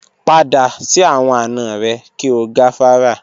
Pada si awọn ana rẹ ki o gafara.